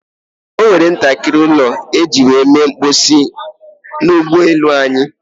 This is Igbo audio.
E nwere ntakịrị ime ụlọ ejiri mere mposi n'ụgbọ elu anyị.